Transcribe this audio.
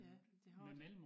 Ja det har de